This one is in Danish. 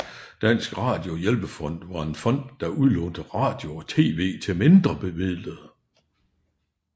Dansk Radio Hjælpefond var en fond der udlånte radio og TV til mindrebemidlede